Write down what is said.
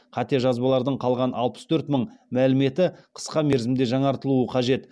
қате жазбалардың қалған алпыс төрт мың мәліметі қысқа мерзімде жаңартылуы қажет